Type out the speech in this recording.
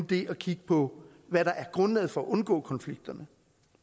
det at kigge på hvad der er grundlaget for at undgå konflikterne